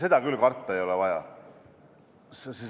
Seda küll karta ei ole vaja.